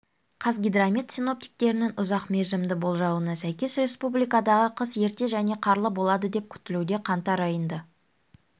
қазгидромет синоптиктерінің ұзақ мерзімді болжауына сәйкес республикадағы қыс ерте және қарлы болады деп күтілуде қаңтар айында